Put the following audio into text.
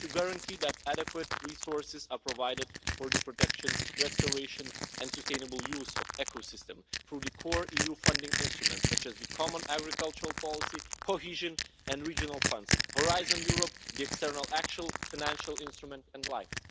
We need to guarantee that adequate resources are provided for the protection, restoration and sustainable use of ecosystems through the core EU funding instruments, such as the common agricultural policy, cohesion and regional funds, Horizon Europe, the external action financial instrument and LIFE.